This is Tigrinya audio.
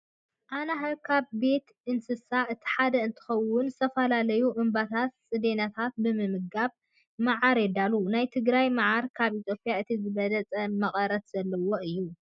ኣናህብ ካብ ቤት እንስሳት እቲ ሓደ እንትኸውን ዝተፈላለዩ እምብባታት ፅዴናታትን ብምምጋብ መዓር የዳልዉ። ናይ ትግራይ መዓር ካብ ኢትዮጵያ እቲ ዝበለፀ መቀረት ዘለዎ እዩ።